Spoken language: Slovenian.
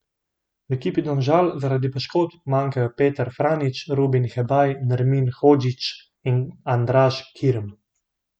V ekipi Domžal zaradi poškodb manjkajo Petar Franjić, Rubin Hebaj, Nermin Hodžić in Andraž Kirm.